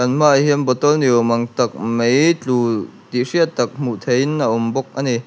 kan hmaah hian bottle ni awm ang tak mai tlu tih hriat tak hmuh theihin a awm bawk ani.